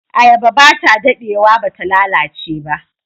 Ayaba ba ta dadewa ba ta lalace ba.